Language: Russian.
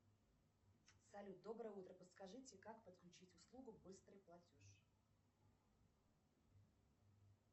салют доброе утро подскажите как подключить услугу быстрый платеж